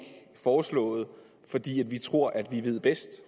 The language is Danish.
foreslået fordi vi tror at vi ved bedst